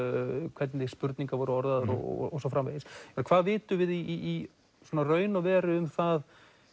hvernig spurningar voru orðaðar og svo framvegis en hvað vitum við í raun og veru um það